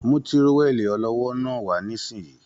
Mú tírówẹli ọlọ́wọ́ náà wà nisinyi!